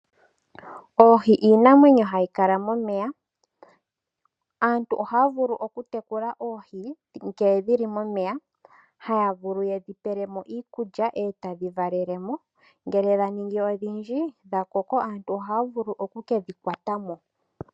Oohi iinamwenyo hayi kala momeya. Aantu ohaya vulu okutekula oohi ngele dhili momeya, haya vulu yedhi pele mo iikulya etadhi valele mo. Ngele dhaningi odhindji dhakoko aantu ohaya vulu okukedhi kwata mo.